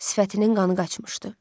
Sifətinin qanı qaçmışdı.